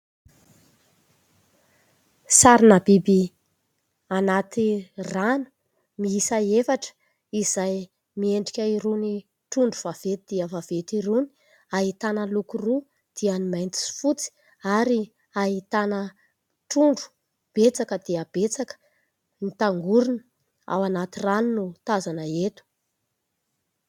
Sarina biby anaty rano miisa efatra, izay miendrika irony trondro vaventy dia vaventy irony ; ahitana loko roa, dia ny mainty sy fotsy. Ary ahitana trondro betsaka dia betsaka, mitangorona ao anaty rano no tazana eto.